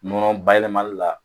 Nɔnɔ bayɛlɛmali la